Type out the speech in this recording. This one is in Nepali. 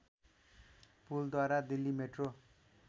पुलद्वारा दिल्ली मेट्रो